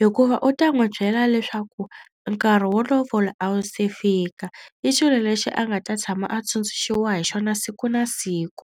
hikuva u ta n'wi byela leswaku nkarhi wo lovola a wu se fika. I xilo lexi a nga ta tshama a tsundzuxiwa hi xona siku na siku.